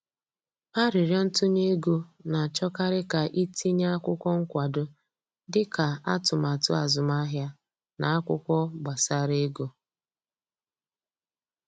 Aririo ntunye ego, na achọkarị ka i tinye akwụkwọ nkwado dị ka atụmatụ azụmahịa na akwụkwọ gbasara ego